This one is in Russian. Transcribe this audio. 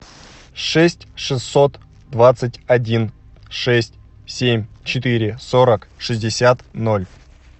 шесть шестьсот двадцать один шесть семь четыре сорок шестьдесят ноль